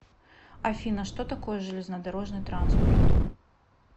афина что такое железнодорожный транспорт